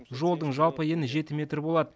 жолдың жалпы ені жеті метр болады